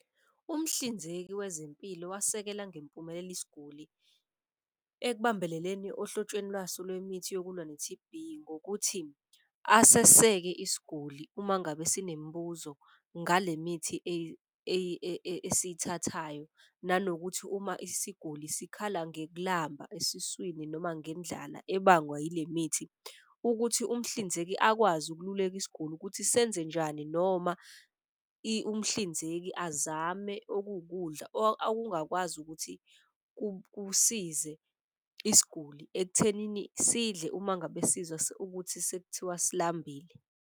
Umhlinzeki wezempilo wasekela ngempumelelo isiguli ekubambeleleni ohlotshweni lwaso lwemithi yokulwa ne-T_B. Ngokuthi aseseke isiguli uma ngabe sinemibuzo ngale mithi esiyithathayo, nanokuthi uma isiguli sikhala ngekulamba esiswini noma ngendlala ebangwa ile mithi. Ukuthi umhlinzeki akwazi ukululeka isiguli ukuthi senze njani noma umhlinzeki azame okuwukudla ngakwazi ukuthi kusize isiguli ekuthenini sidle uma ngabe sizwa ukuthi sekuthiwa silambile.